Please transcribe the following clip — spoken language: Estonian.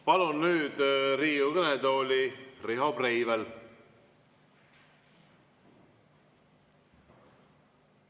Palun nüüd Riigikogu kõnetooli Riho Breiveli.